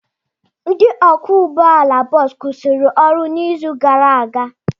Ndị ọkwọ ụgbọala bọọsụ kwụsịrị ọrụ n'izu gara aga.